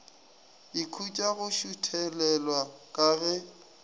ikhutša go šuthelelwa ka ge